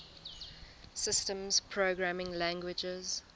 systems programming languages